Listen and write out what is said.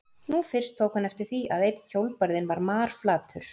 Nú fyrst tók hann eftir því að einn hjólbarðinn var marflatur.